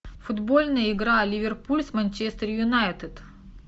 футбольная игра ливерпуль с манчестер юнайтед